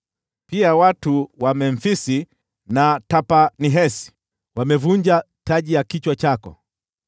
Pia watu wa Memfisi na Tahpanhesi wamevunja taji ya kichwa chako.